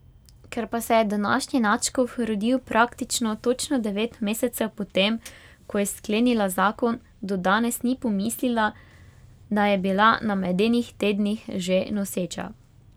Ker pa se je današnji nadškof rodil praktično točno devet mesecev potem, ko je sklenila zakon, do danes ni pomislila, da je bila na medenih tednih že noseča.